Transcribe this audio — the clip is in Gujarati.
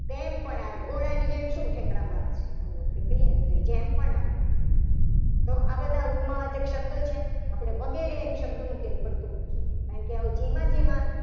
તેમ પણ આવે ઘોડાની જેમ શું ઠેકડા મારે છે. એવું આપણે કહીએ ને તો એ જેમ પણ આવ તો આ બધા ઉપમા વાચક શબ્દો છે. આપણે વગેરે શબ્દને પડતું મૂકીએ. કારણકે આવું જેમાં જેમાં